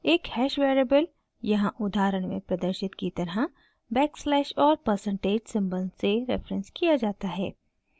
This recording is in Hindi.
एक हैश वेरिएबल यहाँ उदाहरण में प्रदर्शित की तरह बैकस्लैश और परसेंटेज % सिंबल से रेफरेन्स किया जाता है